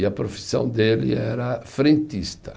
E a profissão dele era frentista.